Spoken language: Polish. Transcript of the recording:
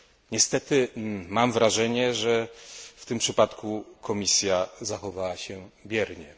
Niestety mam wrażenie, że w tym przypadku Komisja zachowała się biernie.